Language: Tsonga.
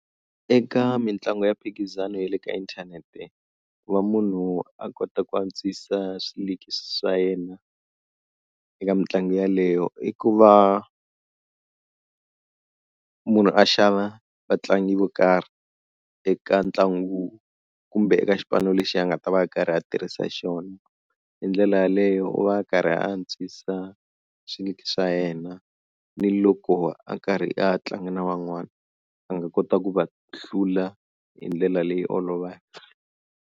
Eka mitlangu ya mphikizano ya le ka inthanete ku va munhu a kota ku antswisa swa yena eka mitlangu yeleyo i ku va munhu a xava vatlangi vo karhi eka ntlangu kumbe eka xipano lexi a nga ta va a karhi a tirhisa xona hi ndlela yaleyo u va a karhi a antswisa xa yena ni loko a karhi a tlanga na van'wana a nga kota ku va hlula hi ndlela leyi olovaka.